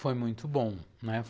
Foi muito bom, né?